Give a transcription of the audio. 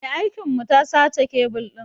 Mai aikin mu ta sace kebil ɗin.